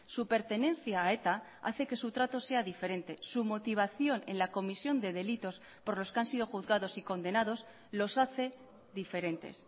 su pertenencia a eta hace que su trato sea diferente su motivación en la comisión de delitos por los que han sido juzgados y condenados los hace diferentes